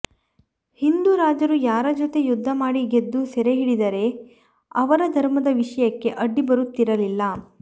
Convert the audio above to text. ಹಿಂದೂ ರಾಜರು ಯಾರ ಜೊತೆ ಯುದ್ಧ ಮಾಡಿ ಗೆದ್ದು ಸೆರೆಹಿಡಿದರೆ ಅವರ ಧರ್ಮದ ವಿಷಯಕ್ಕೆ ಅಡ್ಡಿ ಬರುತ್ತಿರಲಿಲ್ಲ